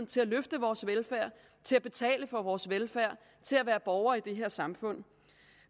til at løfte vores velfærd til at betale for vores velfærd og til at være borgere i det her samfund